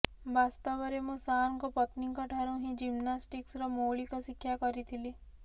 ବାସ୍ତବରେ ମୁଁ ସାରଙ୍କ ପତ୍ନୀଙ୍କଠାରୁ ହିଁ ଜିମ୍ନାଷ୍ଟିକ୍ସର ମୌଳିକ ଶିକ୍ଷା କରିଥିଲି